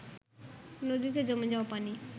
নদীতে জমে যাওয়া পানি